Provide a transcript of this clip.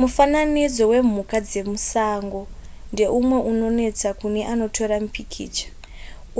mufananidzo wemhuka dzemusango ndeumwe unonetsa kune anotora mipikicha